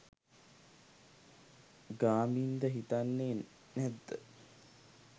ගාමින්ද හිතන්නෙ නැද්ද